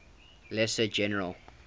lesser general